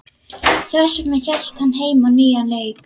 Þess vegna hélt hann heim á nýjan leik.